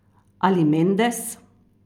Ali Mendes?